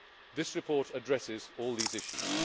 wrong. This report addresses all these issues.